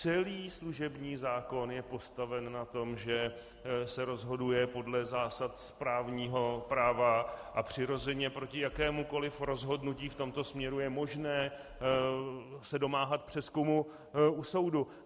Celý služební zákon je postaven na tom, že se rozhoduje podle zásad správního práva a přirozeně proti jakémukoli rozhodnutí v tomto směru je možné se domáhat přezkumu u soudu.